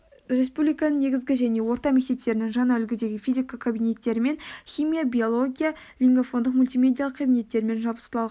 республиканың негізгі және орта мектептерінің жаңа үлгідегі физика кабинеттерімен химия биология лингафондық мультимедиалық кабинеттерімен жабдықталған